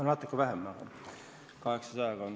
No natuke vähem, umbes 800.